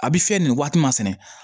A bɛ fiyɛ nin waati masɛnɛ